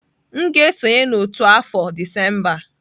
M ga-esonye n'otu afọ Disemba a.